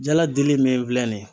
Jaladili min filɛ nin ye.